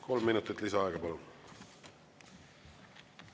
Kolm minutit lisaaega, palun!